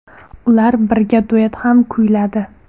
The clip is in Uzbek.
Ular birga duet ham kuyladi.